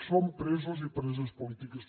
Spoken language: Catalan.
són presos i preses polítiques